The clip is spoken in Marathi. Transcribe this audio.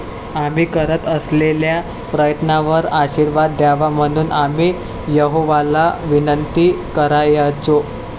आम्ही करत असलेल्या प्रयत्नांवर आशीर्वाद द्यावा म्हणून आम्ही यहोवाला विनंती करायचो.